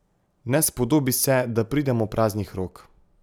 Ne spodobi se, da pridemo praznih rok.